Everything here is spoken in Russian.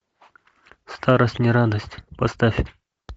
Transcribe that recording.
старость не радость поставь